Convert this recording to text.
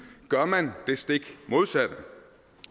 gør man det stik modsatte